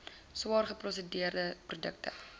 swaar geprosesseerde produkte